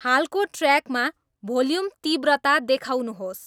हालको ट्र्याकमा भोल्युम तीव्रता देखाउनुहोस्